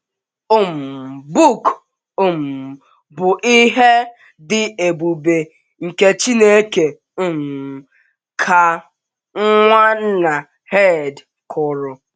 um “ book um bụ ihe dị ebube nke Chineke um, ” ka Nwanna Herd kwuru.